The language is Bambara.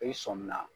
I sɔmin na